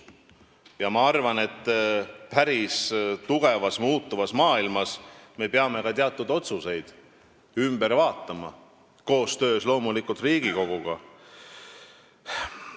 Ja ma arvan, et päris tugevalt muutuvas maailmas me peame ka teatud otsuseid koostöös Riigikoguga üle vaatama.